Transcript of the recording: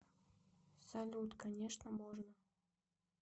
салют конечно можно